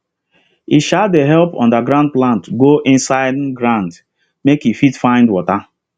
e um dey help underground plant go inside um ground make e fit find water